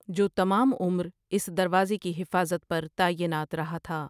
جو تمام عمر اس دروازے کی حفاظت پر تعینات رہا تھا ۔